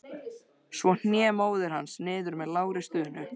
Svo hné móðir hans niður með lágri stunu.